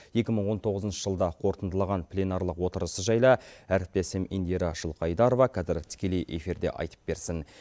екі мың он тоғызыншы жылды қорытындылаған пленарлық отырысы жайлы әріптесім индира жылқайдарова қазір тікелей эфирде айтып берсін